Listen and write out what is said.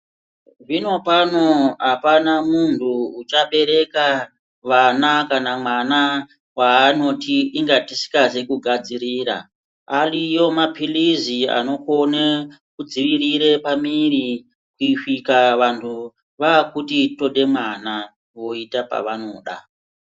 Zvinopano apana muntu uchabrereka vana kana mwana waanoti inga tisikazi kugadzirira ariyo mapirizi anokone kudzivirire pamuiri kusvike vantu vakuti tode mwana voite pavanoda.